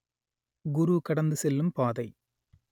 குரு கடந்து செல்லும் பாதை